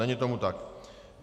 Není tomu tak.